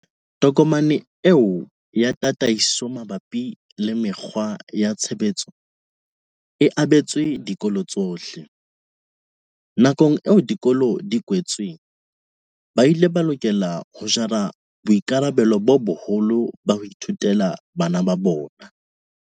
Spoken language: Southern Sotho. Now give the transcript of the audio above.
Tokomane eo ya tataiso mabapi le mekgwa ya tshebetso e abetswe dikolo tsohle. Nakong eo dikolo di kwetsweng, ba ile ba lokela ho jara boikarabelo bo boholo ba ho ithutela bana ba bona.